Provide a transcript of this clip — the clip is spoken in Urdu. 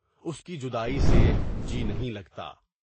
اُس کی جدائی سے جی نہیں لگتا۔